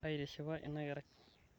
aitishipa inakerai